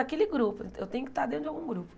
Aquele grupo, eu tenho que estar dentro de algum grupo.